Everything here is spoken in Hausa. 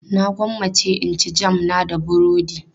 Na gwammace in ci jam na da burodi.